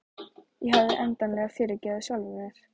Ég hafði endanlega fyrirgefið sjálfri mér.